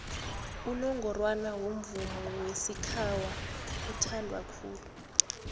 unongorwana womvomo wesikhawa uthandwa khulu